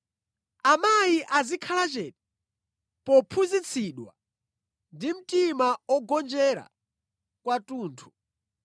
Amayi azikhala chete pophunzitsidwa ndi mtima ogonjera kwathunthu.